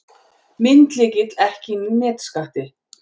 Myndlykill ekki inni í nefskatti